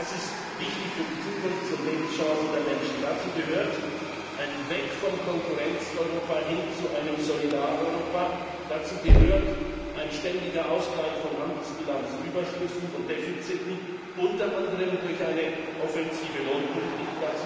Das ist wichtig für die Zukunfts und Lebenschancen der Menschen. Dazu gehört ein Abgehen vom Konkurrenz Europa hin zu einem Solidar Europa, ein ständiger Ausgleich von Handelsbilanzüberschüssen und defiziten, unter anderem durch eine offensive Lohnpolitik.